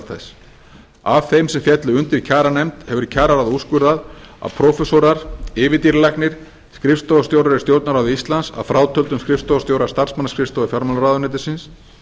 þess af þeim sem féllu undir kjaranefnd hefur kjararáð úrskurðað að prófessorar yfirdýralæknir skrifstofustjórar í stjórnarráði íslands að frátöldum skrifstofustjóra starfsmannaskrifstofu fjármálaráðuneytisins